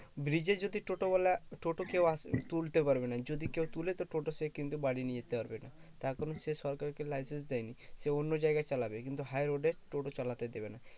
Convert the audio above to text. bridge এ যদি টোটোওয়ালা টোটো কেও আস তুলতে পারবে না যদি কেও তুলে তো টোটো সে কিন্তু বাড়ি নিয়ে যেতে পারবে না তার কারণ সে সরকার কে license দেয় নি সে অন্য জায়গায় চালাবে কিন্তু high road এ টোটো চালাতে দেবে না